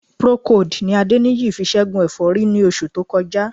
Procold ni Adéníyì fi ṣẹ́gun ẹ̀fọ́rí ní oṣù tó kọjá